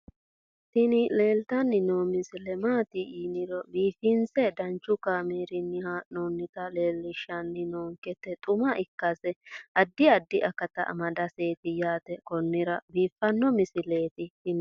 tini leeltanni noo misile maaati yiniro biifinse danchu kaamerinni haa'noonnita leellishshanni nonketi xuma ikkase addi addi akata amadaseeti yaate konnira biiffanno misileeti tini